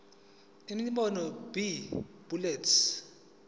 imibono b bullets